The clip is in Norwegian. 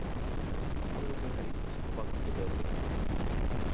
Han roper høyt og banker på dørene.